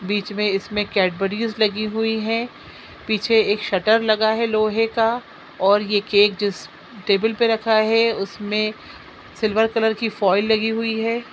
बीच मे इसमे कैडबरिस लगी हुई हैं पीछे का शटर लगा हैं लोहे का और ये केक जिस टेबल पे रखा हैं उसमे सिल्वर कलर की फॉइल लगी हुई हैं।